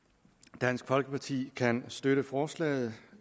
dansk folkeparti kan støtte forslaget